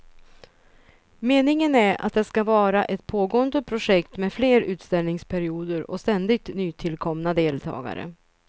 Meningen är att det ska vara ett pågående projekt med fler utställningsperioder och ständigt nytillkomna deltagare.